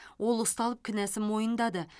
ол ұсталып кінәсін мойындады